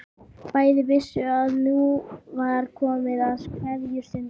Bæði vissu að nú var komið að kveðjustundinni.